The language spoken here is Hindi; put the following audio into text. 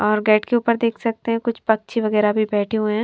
और गेट के ऊपर देख सकते है कुछ पक्षी वगैरा भी बैठे हुए हैं।